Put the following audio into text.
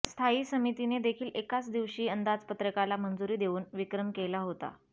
स्थायी समितीने देखील एकाच दिवशी अंदाजपत्रकाला मंजुरी देऊन विक्रम केला होता